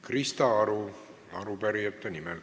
Krista Aru arupärijate nimel.